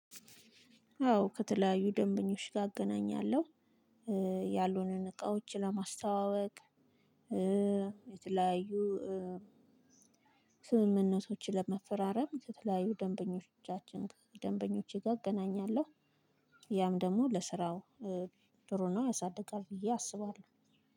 አዎ ከተለያዩ ደንበኞች ጋር እገናኛለሁ። ያሉንን እቃዎች ለማስተዋወቅ የተለያዩ ስምምነቶችን ለመፈራረም ከተለያዩ ደንበኞቻችን ጋር ደንበኞቼ ጋር እገናኛለሁ። ያም ደግሞ ለስራው ጥሩ ነው ያሳድጋል ብዬ አስባለሁ።